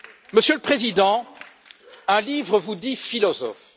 Monsieur le Président, un livre vous dit philosophe.